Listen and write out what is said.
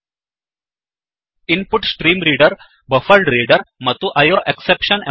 InputStreamReaderಇನ್ ಪುಟ್ stream reader buffered reader buffered reader ಮತ್ತು IO exception I O exception